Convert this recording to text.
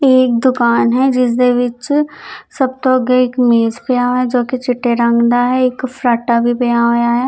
ਯੇ ਇਕ ਦੁਕਾਨ ਹੈ ਜਿਸਦੇ ਵਿੱਚ ਸਭ ਤੋਂ ਅਗੇ ਇਕ ਮੇਜ ਪਿਆ ਹੈ ਜੋ ਕਿ ਚਿੱਟੇ ਰੰਗ ਦਾ ਹੈ ਇੱਕ ਫਰਾਟਾ ਵੀ ਪਿਆ ਹੋਇਆ ਹੈ।